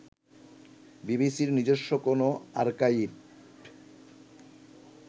বিসিবির নিজস্ব কোন আর্কাইভ